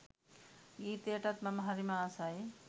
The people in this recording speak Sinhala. ගීතයටත් මම හරිම ආසයි